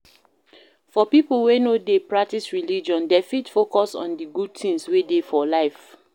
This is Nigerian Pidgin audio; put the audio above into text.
For pipo wey no dey practice religion, dem fit focus on di good things wey dey for life